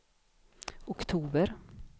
oktober